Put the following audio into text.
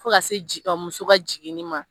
Fo ka se ji ka muso ka jiginni ma